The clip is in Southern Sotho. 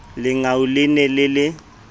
lengau le ne le le